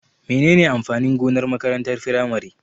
Menene amfanin gonar makarantar firamare?